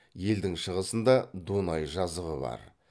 елдің шығысында дунай жазығы бар